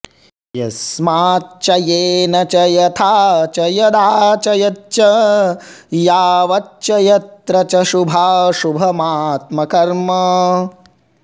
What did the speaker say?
यस्माच्च येन च यथा च यदा च यच्च यावच्च यत्र च शुभाशुभमात्मकर्म